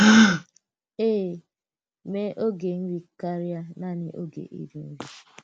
Èè, mee ògé nri kárịà naanị ògé íri nri!